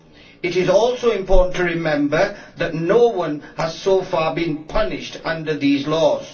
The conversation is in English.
It is also important to remember that no one has so far been punished under these laws.